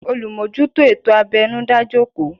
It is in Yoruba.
Olumojuto ètò abẹnu dá jòkó